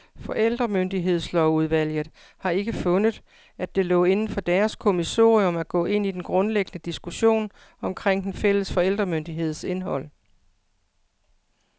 Forældremyndighedslovsudvalget har ikke fundet, at det lå inden for deres kommissorium, at gå ind i den grundlæggende diskussion omkring den fælles forældremyndigheds indhold.